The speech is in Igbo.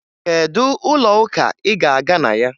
Kedu ụlọụka ị ga-aga na ya?